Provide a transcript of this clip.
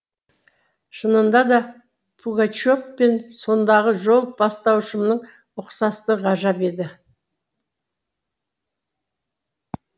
шынында да пугачев пен сондағы жол бастаушымның ұқсастығы ғажап еді